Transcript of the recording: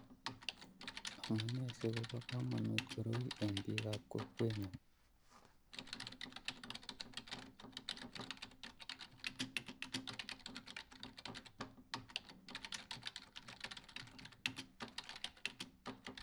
amune si koba kamanut koroi eng bik ab kokwengung